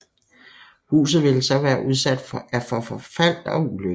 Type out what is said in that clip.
Huset ville så være udsat for forfald og ulykker